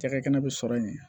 Cakɛda bɛ sɔrɔ yen